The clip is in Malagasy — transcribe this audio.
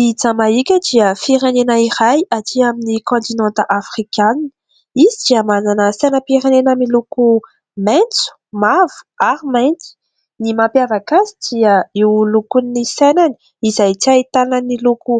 I Jamaika dia firenena iray aty amin'ny kantinanta afrikanina izy dia manana sainam-pirenena miloko maitso mavo ary mantso ny mampiavaka azy dia io lokon'ny sainany izay tsy ahitanan'ny loko